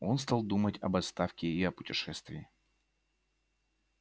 он стал думать об отставке и о путешествии